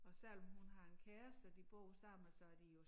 Og selvom hun har en kæreste og de bor sammen så de jo